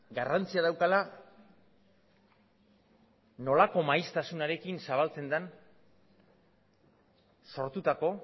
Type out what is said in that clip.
garrantzia daukala nolako maiztasunarekin zabaltzen den sortutako